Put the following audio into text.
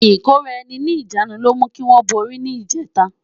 Ikóráèni ni ijânú ló mú kiwòn bóri ni ijètá